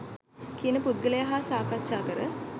කියන පුද්ගලයා හා සාකච්ඡා කර